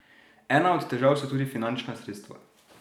Ena od težav so tudi finančna sredstva.